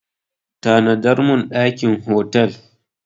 Book a hotel room for me!